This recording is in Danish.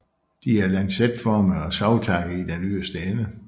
De er lancetformede og savtakkede i den yderste ende